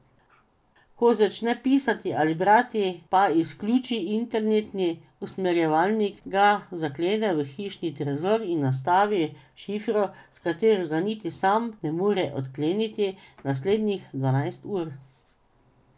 Ko začne pisati ali brati, pa izključi internetni usmerjevalnik, ga zaklene v hišni trezor in nastavi šifro, s katero ga niti sam ne more odkleniti naslednjih dvanajst ur.